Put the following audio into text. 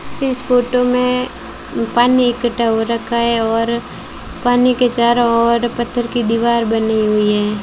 इस फोटो में पानी इकट्ठा हो रखा है और पानी के चारों ओर पत्थर की दीवार बनी हुई है।